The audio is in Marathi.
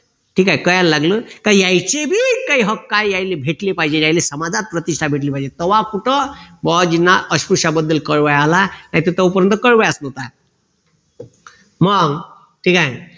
ठीक आहे कळायला लागलं का यायचे बी काही हक्क आहे त्यांले भेटले पाहिजे यांला समाजात प्रतिष्ठा भेटली पाहिजे तव्हा कुठं बुआजीना अस्पृश्याबद्दल कळवय आला नाही तर तोपर्यंत कळवयच नव्हता मग ठीक आहे